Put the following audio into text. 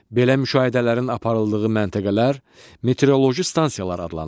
Belə müşahidələrin aparıldığı məntəqələr meteoroloji stansiyalar adlanır.